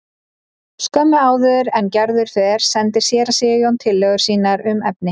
Skömmu áður en Gerður fer sendir séra Sigurjón tillögur sínar um efni.